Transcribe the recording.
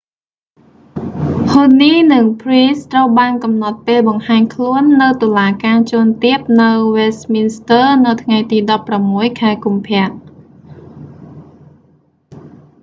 huhne និង pryce ត្រូវបានកំណត់ពេលបង្ហាញខ្លួននៅតុលាការជាន់ទាបនៅ westminster នៅថ្ងៃទី16 ខែកុម្ភៈ